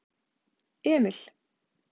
Emil